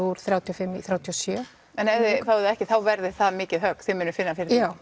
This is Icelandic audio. úr þrjátíu og fimm í þrjátíu og sjö en ef þið fáið ekki þá verður það mikið högg þið munuð finna fyrir því já